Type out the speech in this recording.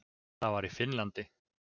Það var í Finnlandi.